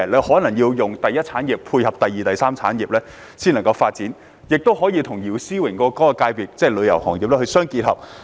可能需要配合第二、第三產業的發展，或與姚思榮議員代表的旅遊業界相配合。